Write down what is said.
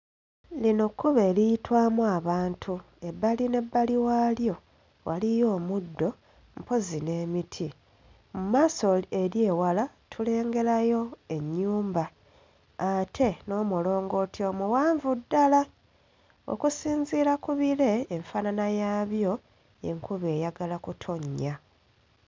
Lino kkubo eriyitwamu abantu ebbali n'ebbali waalyo waliyo omuddo mpozzi n'emiti mmaaso ee eri ewala tulengerayo ennyumba ate n'omulongooti omuwanvu ddala okusinziira ku bire enfaanana yaabyo enkuba eyagala kutonnya.